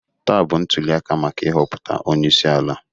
Taa bụ ntụliaka maka ị họputa ọnyeisi ala.